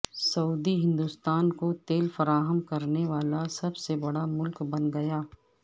سعودی ہندوستان کو تیل فراہم کرنے والا سب سے بڑا ملک بن گیا